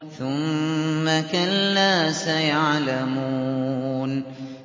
ثُمَّ كَلَّا سَيَعْلَمُونَ